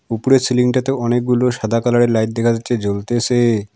উপরে সিলিংটাতে অনেকগুলো সাদা কালারের লাইট দেখা যাচ্ছে জ্বলতেছে।